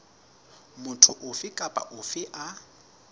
motho ofe kapa ofe a